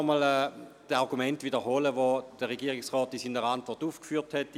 Ich möchte die Argumente nicht wiederholen, die der Regierungsrat in seiner Antwort aufgeführt hat.